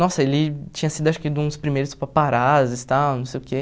Nossa, ele tinha sido, acho que, um dos primeiros paparazzis, tal, não sei o quê.